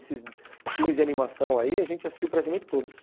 Esses filmes de animação aí, a gente assistiu praticamente todos.